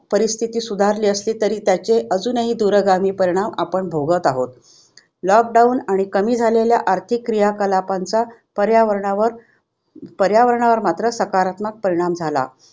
परिस्थिति सुधारली असली तरी त्याचे अजूनही दूरगामी परिणाम आपण भोगत आहोत. lockdown आणि कमी झालेल्या आर्थिक क्रियाकलापांचा पर्यावरणावर पर्यावरणावर मात्र सकारात्मक परिणाम झाला.